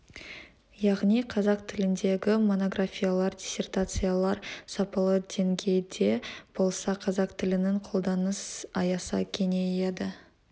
яғни қазақ тіліндегі монографиялар диссертациялар сапалы деңгейде болса қазақ тілінің қолданыс аясы кеңейеді